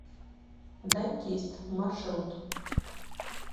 дантист маршрут